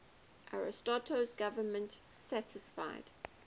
ariosto's government satisfied